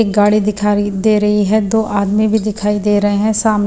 एक गाड़ी दिखाई दे रही है दो आदमी भी दिखाई दे रहे हैं सामने--